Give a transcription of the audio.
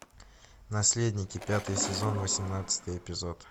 наследники пятый сезон восемнадцатый эпизод